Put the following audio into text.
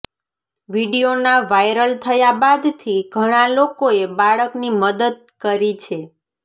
વીડિયોના viral થયા બાદથી ઘણા લોકોએ બાળકની મદદ કરી છે